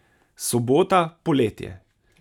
Sobota, poletje.